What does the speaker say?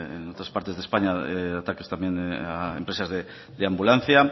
en otras partes de españa ataques también a empresas de ambulancia